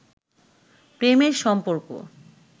প্রেমের সম্পর্ক